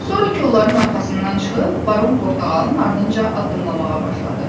Sonra kollların arxasından çıxıb baron Portağalın ardınca addımlamağa başladı.